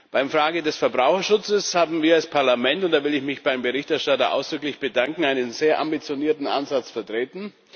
Bei der Frage des Verbraucherschutzes haben wir als Parlament und da will ich mich beim Berichterstatter ausdrücklich bedanken einen sehr ambitionierten Ansatz vertreten.